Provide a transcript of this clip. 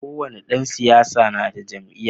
Kowani Dan siyasa nada jam'iya